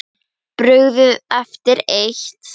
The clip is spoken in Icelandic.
Brugðið eftir eitt.